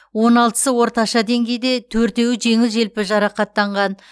он алтысы орташа деңгейде төртеуі жеңіл желпі жарақаттанған